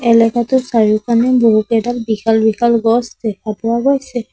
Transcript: এলেকাটোৰ চাৰিওকানে বহুকেইডাল বিশাল বিশাল গছ দেখা পোৱা গৈছে।